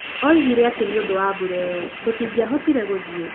Oigire atĩ nĩ ũndũ wa mbura ĩyo, tũtingĩahotire gũthiĩ.